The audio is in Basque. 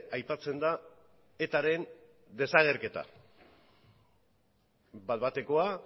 aipatzen da etaren desagerketa bat batekoa